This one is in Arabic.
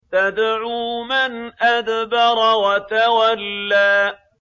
تَدْعُو مَنْ أَدْبَرَ وَتَوَلَّىٰ